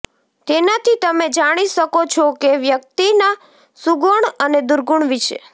તેનાથી તમે જાણી શકો છો કે વ્યક્તિના સુગુણ અને દુર્ગુણ વિષે